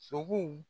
Sogow